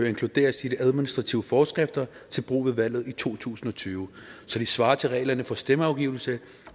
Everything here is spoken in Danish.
inkluderes i de administrative forskrifter til brug ved valget i to tusind og tyve så de svarer til reglerne for stemmeafgivelse